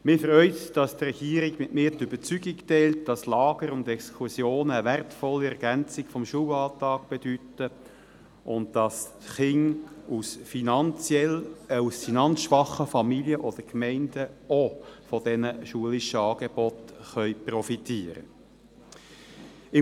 Mich freut es, dass die Regierung mit mir die Überzeugung teilt, dass Lager und Exkursionen eine wertvolle Ergänzung des Schulalltags bedeuten und dass Kinder aus finanzschwachen Familien oder Gemeinden auch von diesem schulischen Angebot profitieren können.